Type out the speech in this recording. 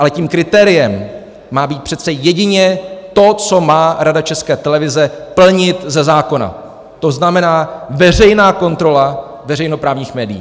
Ale tím kritériem má být přece jedině to, co má Rada České televize plnit ze zákona, to znamená, veřejná kontrola veřejnoprávních médií.